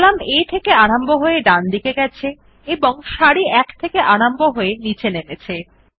column A থেকে আরম্ভ হয়ে ডান দিকে গেছে এবং সারি 1 থেকে আরম্ভ নীচে নেমেছে